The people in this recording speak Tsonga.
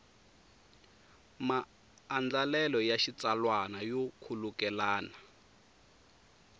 maandlalelo ya xitsalwana yo khulukelana